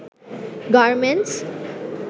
garments